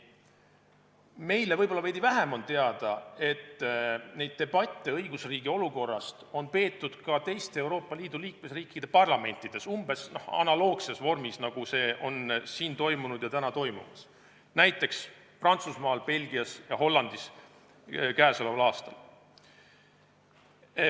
Meile on võib-olla veidi vähem teada, et debatte õigusriigi olukorrast on peetud ka teiste Euroopa Liidu liikmesriikide parlamentides umbes analoogses vormis, nagu see siin täna toimub, näiteks Prantsusmaal, Belgias ja Hollandis käesoleval aastal.